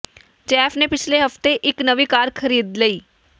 Jeff ਨੇ ਪਿਛਲੇ ਹਫ਼ਤੇ ਇੱਕ ਨਵੀਂ ਕਾਰ ਖਰੀਦ ਲਈ